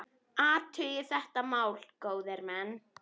Athugið þetta mál, góðir menn!